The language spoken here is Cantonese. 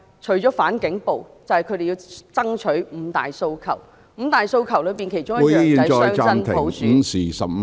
除了"反警暴"，便是他們要爭取落實五大訴求，五大訴求的其中一項是雙真普選......